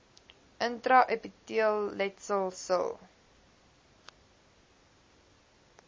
intra epiteelletsel sil